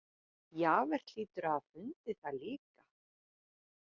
Javert hlýtur að hafa fundið það líka.